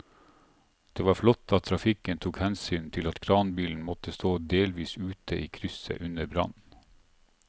Det var flott at trafikken tok hensyn til at kranbilen måtte stå delvis ute i krysset under brannen.